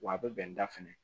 Wa a bɛ bɛn da fɛnɛ